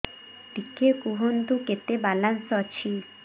ଟିକେ କୁହନ୍ତୁ କେତେ ବାଲାନ୍ସ ଅଛି